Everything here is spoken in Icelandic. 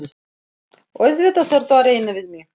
Auðvitað ertu að reyna við mig!